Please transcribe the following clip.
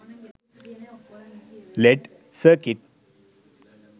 led circuit